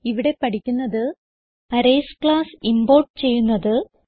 ഇവിടെ പഠിക്കുന്നത് arrays class import ചെയ്യുന്നത്